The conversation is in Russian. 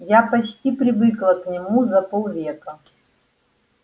я почти привыкла к нему за пол века